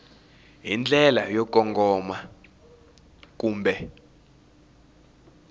hi ndlela yo kongoma kumbe